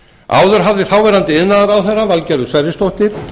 áður hafði þáv iðnaðarráðherra valgerður sverrisdóttir